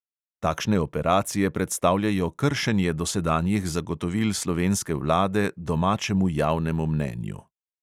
Takšne operacije predstavljajo kršenje dosedanjih zagotovil slovenske vlade domačemu javnemu mnenju.